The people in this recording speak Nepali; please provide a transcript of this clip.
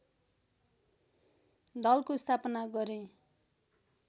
दलको स्थापना गरे